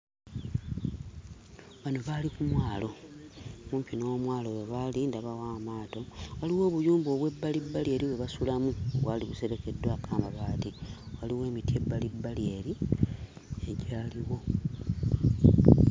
Bano baali ku mwalo. Kumpi n'omwalo we baali, ndabawo amaato, waliwo obuyumba obw'ebbalibbali eri bwe basulamu obwali buserekeddwako amabaati, waliwo emiti ebbalibbali eri egyaliwo.